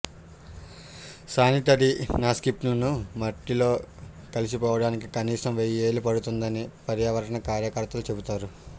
sanitary న్యాప్కిన్లు మట్టిలో కలిసిపోవడానికి కనీసం వెయ్యేళ్లు పడుతుందని పర్యావరణ కార్యకర్తలు చెబుతారు